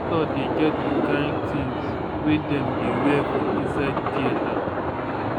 doctors dey get di kind tins wey dem dey wear for inside theatre.